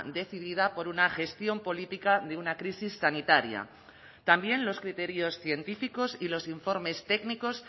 decidida por una gestión política de una crisis sanitaria también los criterios científicos y los informes técnicos